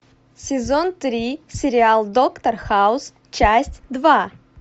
сезон три сериал доктор хаус часть два